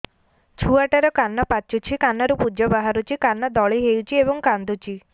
ଛୁଆ ଟା ର କାନ ପାଚୁଛି କାନରୁ ପୂଜ ବାହାରୁଛି କାନ ଦଳି ହେଉଛି ଏବଂ କାନ୍ଦୁଚି